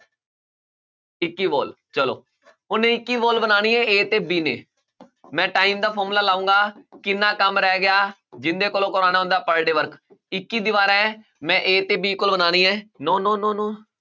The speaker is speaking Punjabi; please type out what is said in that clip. ਇੱਕ wall ਚਲੋ ਹੁਣ ਇੱਕੀ wall ਬਣਾਉਣੀ ਹੈ a ਤੇ b ਨੇ ਮੈਂ time ਦਾ formula ਲਾਊਂਗਾ ਕਿੰਨਾ ਕੰਮ ਰਹਿ ਗਿਆ ਜਿਹਦੇ ਕੋਲੋਂ ਕਰਵਾਉਣਾ ਉਹਦਾ per day work ਇੱਕੀ ਦੀਵਾਰਾਂ ਹੈ ਮੈਂ a ਤੇ b ਕੋਲ ਬਣਾਉਣੀ ਹੈ no no no no